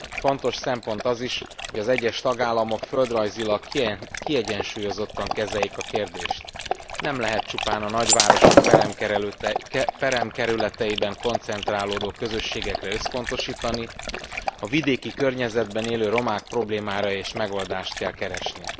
Fontos szempont az is, hogy az egyes tagállamok földrajzilag kiegyensúlyozottan kezeljék a kérdést nem lehet csupán a nagyvárosok peremkerületeiben koncentrálódó közösségekre összpontosítani, a vidéki környezetben élő romák problémáira is megoldásokat kell keresni.